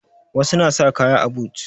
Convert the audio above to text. Wasu na sa kaya a but